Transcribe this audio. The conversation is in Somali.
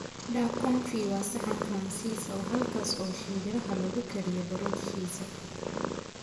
Duck confit waa saxan Faransiis ah halkaas oo shinbiraha lagu kariyo baruurtiisa.